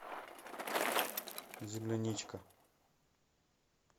земляничка